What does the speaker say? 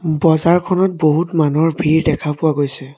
বজাৰখনত বহুত মানুহৰ ভিৰ দেখা পোৱা গৈছে।